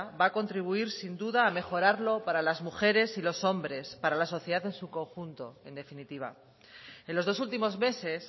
va a contribuir sin duda a mejorar lo para las mujeres y los hombres para la sociedad en su conjunto en definitiva en los dos últimos meses